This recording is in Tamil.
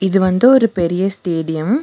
இது வந்து ஒரு பெரிய ஸ்டேடியம் .